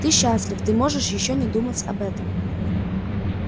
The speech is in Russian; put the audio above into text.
ты счастлив ты можешь ещё не думать об этом